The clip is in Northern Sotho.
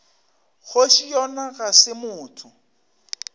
kgoši yona ga se motho